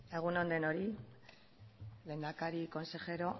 egun on denoi lehendakari consejero